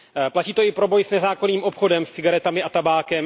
Platí to i pro boj s nezákonným obchodem s cigaretami a tabákem.